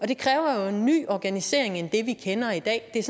det kræver jo en ny organisering i det vi kender i dag det